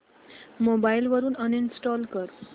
mobile वरून uninstall कर